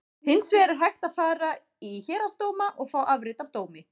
Hins vegar er hægt að fara í héraðsdóma og fá afrit af dómi.